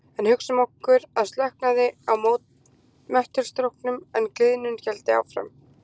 En hugsum okkur að slökknaði á möttulstróknum en gliðnun héldi áfram.